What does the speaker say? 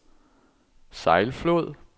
Sejlflod